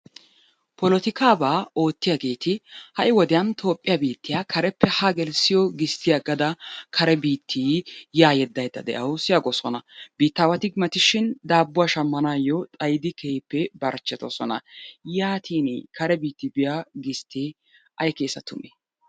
Polotikaabaa oottiyaageeti ha'i wodiyan toophiya biittiya kareppe haa gelissiyogaa gisttiya agada kare biiti yaa yedaydda de'awusu yaagosona. Biitawati mati shin daabuwa shamanawu xayiddi keehippe barchetoososna. yaatiini kare biitti biya gistee ay keenna tummee?